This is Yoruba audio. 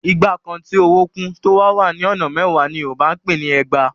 Igba kan tí owó kún, tó wá wà ní ọ̀nà mẹ́wàá ni Yorùbá ń pè ni ẹgbàá.